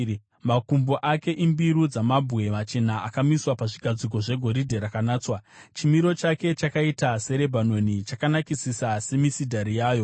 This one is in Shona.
Makumbo ake imbiru dzamabwe machena akamiswa pazvigadziko zvegoridhe rakanatswa. Chimiro chake chakaita seRebhanoni, chakanakisisa semisidhari yayo.